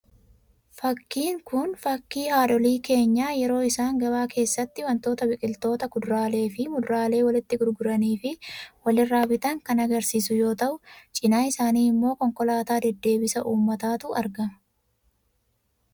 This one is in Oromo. Fakkiin kun, fakkii haadholii keenyaa yeroo isaan gabaa keessatti waantota biqiloota kuduraalee fi muduraalee walitti gurguranii fi wal irraa bitan kan agarsiisu yoo ta'u, cinaa isaanii immoo konkolaataa deddeebisa uummataatu argama.